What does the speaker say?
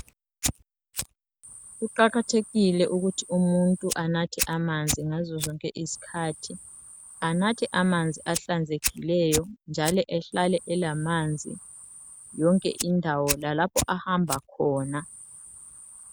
Kuqakathekile ukuthi umuntu anathe amanzi ngazo zonke izikhathi. Anathe amanzi ahlanzekileyo njalo ehlale elamanzi yonke indawo lalapho ahamba khona.